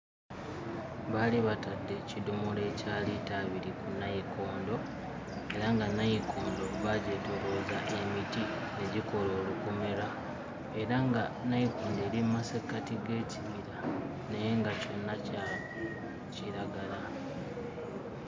Baali batadde ekidomola ekya liita abiri ku nayikondo era nga nayikondo baagyetoolooza emiti egikola olukomera era nga nayikondo eri mu masekkati g'ekibira naye nga kyonna kya kiragala.